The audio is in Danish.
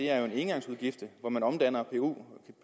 er en engangsudgift hvor man omdanner pku